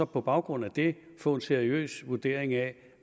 på baggrund af det få en seriøs vurdering af